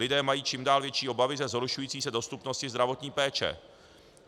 Lidé mají čím dál větší obavy ze zhoršující se dostupnosti zdravotní péče.